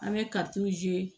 An bɛ